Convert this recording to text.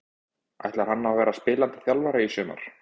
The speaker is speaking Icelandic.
Ætlar hann að vera spilandi þjálfari í sumar?